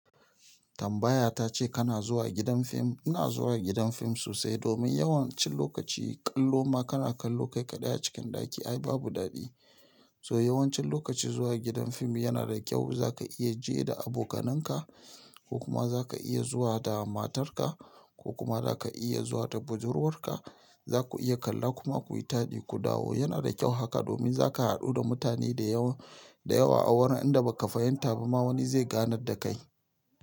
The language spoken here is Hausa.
Tambaya ta ce kana zuwa gidan fim. Ina zuwa gidan fim sosai domin yawancin lokaci kallo ma kana kallo kai kaɗai a cikin ɗaki ai babu daɗi. So yawancin lokaci zuwa gidan fim yana da kyau. Za ka iya je da abokanan ka ko kuma za ka iya zuwa da matar ka ko kuma za ka iya zuwa da budurwar ka. Za ku iya kalla kuma ku yi taɗi ku dawo. Yana da kyau haka domin za ka haɗu da mutane da yawa a wurin inda ba ka fahimta ba ma wani zai ganar da kai.